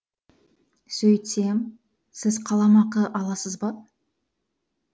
сөйтсем сіз қаламақы аласыз ба